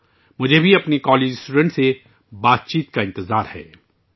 میں اپنے کالج کے طالب علموں کے ساتھ گفت و شنید کرنے کا بھی منتظر ہوں